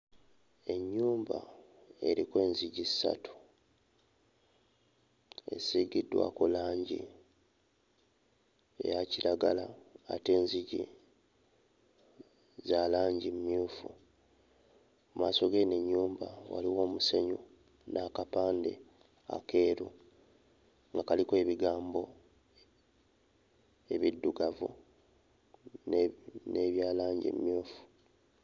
Ennyumba eriko enzigi ssatu, esiigiddwako langi eya kiragala ate enzigi za langi mmyufu. Mu maaso g'eno ennyumba waliwo omusenyu n'akapande akeeru nga kaliko ebigambo ebiddugavu ne n'ebya langi emmyufu.